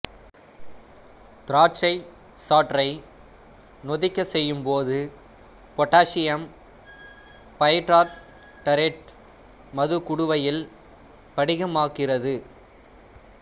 திராட்சை சாற்றை நொதிக்கச் செய்யும் போது பொட்டாசியம் பைடார்டரேட்டு மதுக்குடுவையில் படிகமாக்குகிறது